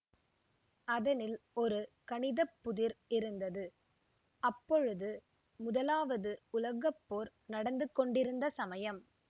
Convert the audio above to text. அதனில் ஒரு கணித புதிர் இருந்தது அப்பொழுது முதலாவது உலக போர் நடந்துகொண்டிருந்த சமயம்